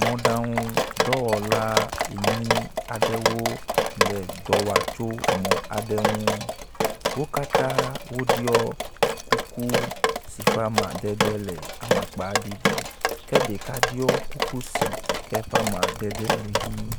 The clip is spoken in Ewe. Mɔɖaŋudɔwɔ enyi aɖewo le dɔ wa tso mɔ aɖe ŋu. Wo katã wo ɖɔ kuku si ƒe amadede le amakpaɖiɖike ɖeka ɖɔ kuku si ke ƒe amadede le ʋi.